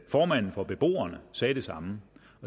formanden for beboerne sagde det samme